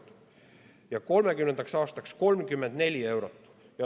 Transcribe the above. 2030. aastaks prognoositi 34 eurot.